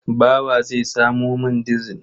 Bawa zai samo man dizil.